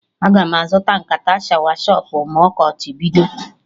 Aga m azụta nkata shawa shọpụ ma ọkọchị bido